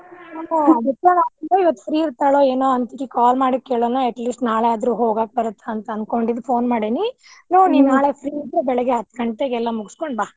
call ಮಾಡಿ ಕೇಳೋಣ at least ನಾಳೆ ಆದ್ರೂ ಹೋಗಾಕಬರತ್ತ್ ಅಂತ ಅನ್ಕೊಂಡ phone ಮಾಡೇನಿ ನೀ free ಇದ್ರೆ ಬೆಳಿಗ್ಗೆ ಹತ್ತ್ ಗಂಟೆಕ್ ಎಲ್ಲಾ ಮುಗಿಸ್ಕೊಂಡ್ ಬಾ.